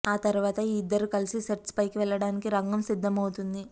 ఆ తరువాత ఈ ఇద్దరూ కలిసి సెట్స్ పైకి వెళ్లడానికి రంగం సిద్ధమవుతోంది